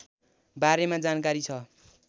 बारेमा जानकारी छ